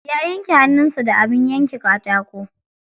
Ya yanke hannun sa da abin yanka katako.